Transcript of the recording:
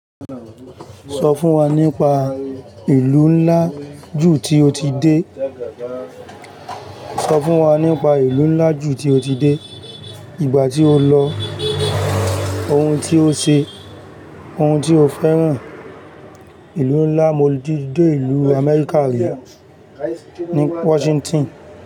Sọ fún wa nípa ìlú ńlá jù tí o ti dé, ìgbà tí o lọ, ohun tí o ṣe, ohun tí o fẹ́ràn. Ìlú ńlá mo ti dé ìlú Amẹ́ríkà rí ní Washington.